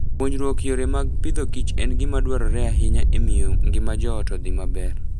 Puonjruok yore mag pidhoKich en gima dwarore ahinya e miyo ngima joot odhi maber.